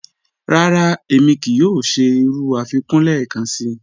Rárá, émi kíí yòò ṣẹ̀ irú afikún lẹ́ẹ̀kànṣí.